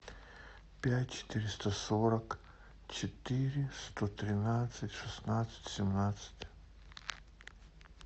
пять четыреста сорок четыре сто тринадцать шестнадцать семнадцать